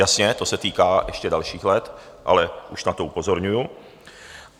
Jasně, to se týká ještě dalších let, ale už na to upozorňuju.